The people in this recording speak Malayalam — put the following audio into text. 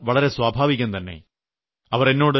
അവരുടെ ചിന്ത വളരെ സ്വാഭാവികം തന്നെ